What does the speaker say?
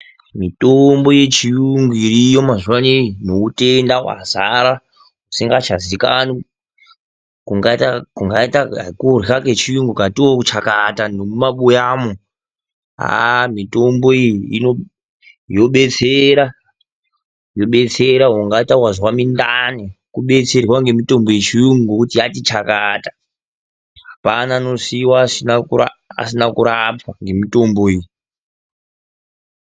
Mitombo yechiyungu iriyo mazuva ano neutenda hwazara husingachazivikanwi. Kungaita kurya kechiyungu kukatiwo chakata nemumabuyamo. Haa mitombo iyi yobetsera ungati wazwa zvirinane kudetserwa yobetsera ngemitombo yechiyungu nokuti yati chakata. Hapana anosiiwa asina kurapwa ngemitombo iyi.